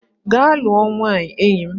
Gaa lụọ nwaanyị enyi m!